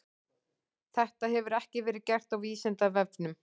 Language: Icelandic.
Þetta hefur ekki verið gert á Vísindavefnum.